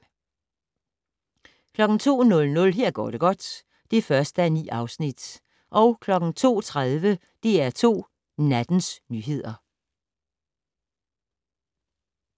02:00: Her går det godt (1:9) 02:30: DR2 Nattens nyheder